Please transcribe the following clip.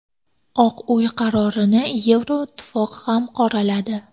Oq uy qarorini Yevroittifoq ham qoraladi.